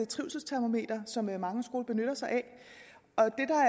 trivselstermometer som mange skoler benytter sig